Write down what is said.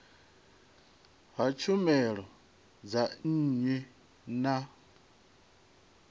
ha tshumelo dza nnyi na